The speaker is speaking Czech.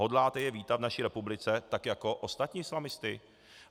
Hodláte je vítat v naší republice tak jako ostatní islamisty?